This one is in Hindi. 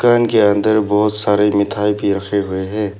दुकान के अंदर बहुत सारे मिठाई भी रखे हुए हैं।